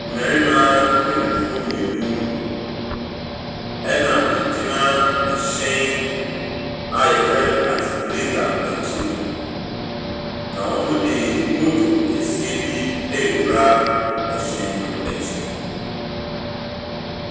Mmarima mpanimfoɔ mmienu ɛna egyina ɛhyɛn a yɛfrɛ no atikulata akyi no. Na wɔde motor kɛseɛ bi rewura ɛhyɛn no akyi.